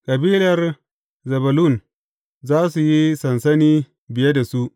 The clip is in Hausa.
Kabilar Zebulun za su yi sansani biye da su.